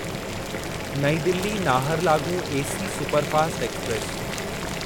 नईं Delhi Naharlagun AC superfast express